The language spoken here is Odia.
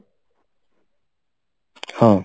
ହଁ